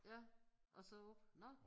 Ja og så op nåh